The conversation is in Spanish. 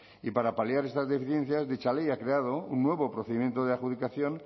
y para paliar estas deficiencias dicha ley ha creado un nuevo procedimiento de adjudicación